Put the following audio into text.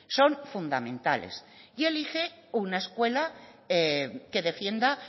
son fundamentales y elige una escuela que defienda